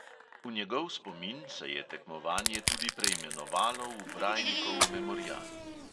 V njegov spomin se je tekmovanje tudi preimenovalo v brajnikov memorial.